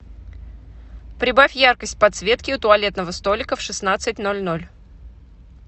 прибавь яркость подсветки у туалетного столика в шестнадцать ноль ноль